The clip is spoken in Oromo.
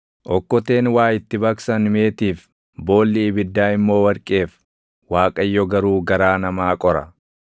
Okkoteen waa itti baqsan meetiif, boolli ibiddaa immoo warqeef; Waaqayyo garuu garaa namaa qora.